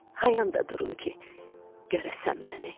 Hayanda durum ki, görəsən məni.